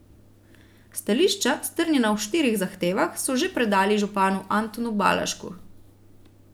Stališča, strnjena v štirih zahtevah, so že predali županu Antonu Balažku.